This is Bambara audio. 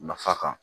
Nafa kan